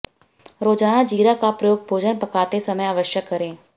रोज़ाना जीरा का प्रयोग भोजन पकाते समय अवश्य करें